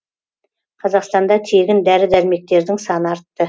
қазақстанда тегін дәрі дәрмектердің саны артты